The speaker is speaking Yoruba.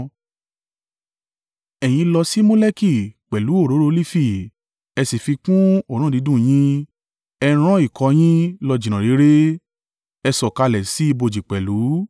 Ẹ̀yin lọ sí Moleki pẹ̀lú òróró olifi ẹ sì fi kún òórùn dídùn yín. Ẹ rán ikọ̀ yín lọ jìnnà réré; ẹ sọ̀kalẹ̀ sí ibojì pẹ̀lú!